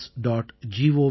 gallantryawards